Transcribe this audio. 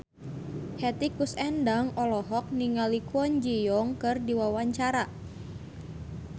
Hetty Koes Endang olohok ningali Kwon Ji Yong keur diwawancara